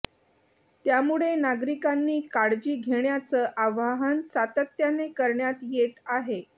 त्यामुळे नागरिकांनी काळजी घेण्याचं आवाहन सातत्याने करण्यात येत आहे